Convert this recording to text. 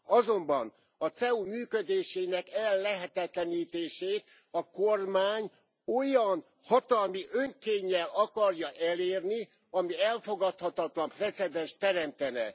Azonban a CEU működésének ellehetetlenítését a kormány olyan hatalmi önkénnyel akarja elérni, ami elfogadhatatlan precedenst teremtene.